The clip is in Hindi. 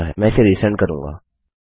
मैं इसे रिसेंड करूँगा